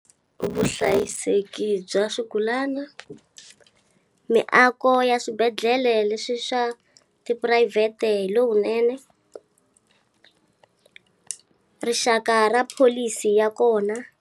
Vuhlayiseki bya swigulana, miako ya swibedhlele leswi swa tiphurayivhete hi lowunene rixaka ra pholisi ya kona.